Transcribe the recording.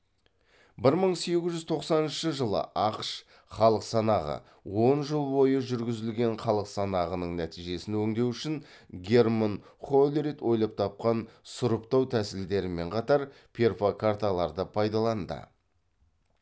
бір мың сегіз жүз тоқсаныншы жылы ақш халық санағы он жыл бойы жүргізілген халық санағының нәтижесін өңдеу үшін герман холлерит ойлап тапқан сұрыптау тәсілдерімен қатар перфокарталарды пайдаланды